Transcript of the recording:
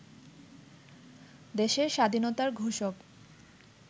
দেশের স্বাধীনতার ঘোষক